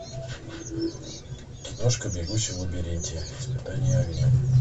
киношка бегущий в лабиринте испытание огнем